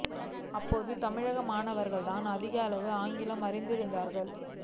அப்போது தமிழக மாணவர்கள் தான் அதிக அளவில் ஆங்கிலம் அறிந்திருந்தார்கள்